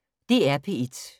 DR P1